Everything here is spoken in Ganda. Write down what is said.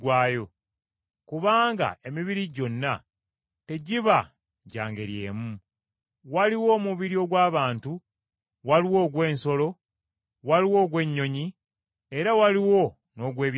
Kubanga emibiri gyonna tegiba gya ngeri emu. Waliwo omubiri ogw’abantu, waliwo ogw’ensolo, waliwo ogw’ennyonyi, era waliwo n’ogw’ebyennyanja.